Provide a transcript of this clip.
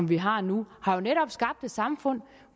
vi har nu har jo skabt et samfund